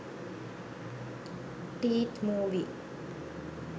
teeth movie